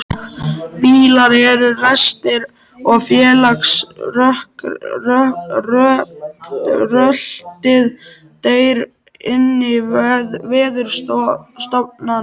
Bílar eru ræstir og vélarskröltið deyr inní veðurofsanum.